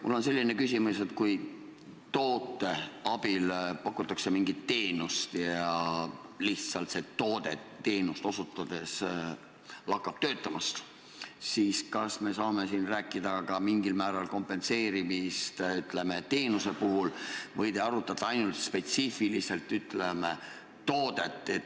Mul on selline küsimus, et kui toote abil pakutakse mingit teenust ja see toode teenust osutades lakkab töötamast, siis kas me saame siin rääkida mingil määral kompenseerimisest ka teenuse puhul või te arutate ainult spetsiifiliselt, ütleme, toodet.